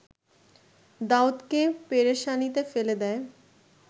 দাউদকে পেরেশানিতে ফেলে দেয়